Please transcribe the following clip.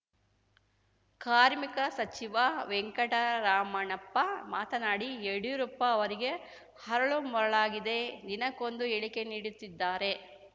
ಕಾರ್ಮಿಕ ಸಚಿವ ವೆಂಕಟರಮಣಪ್ಪ ಮಾತನಾಡಿ ಯಡ್ಯೂರಪ್ಪ ಅವರಿಗೆ ಅರಳು ಮರುಳಾಗಿದೆ ದಿನಕ್ಕೊಂದು ಹೇಳಿಕೆ ನೀಡುತ್ತಿದ್ದಾರೆ